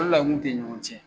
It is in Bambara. O dela n kun tɛ ɲɔgɔn ciɛ